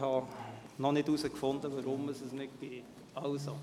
Ich habe noch nicht herausgefunden, weshalb es nicht funktioniert.